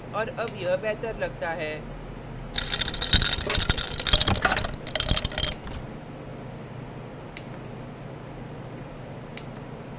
और अब यह बेहतर लगता है